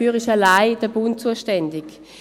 Dafür ist allein der Bund zuständig.